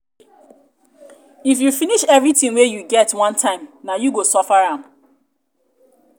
if you finish everything wey you get one time nah you go suffer am.